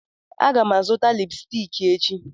Aga m azụta lipsticki echi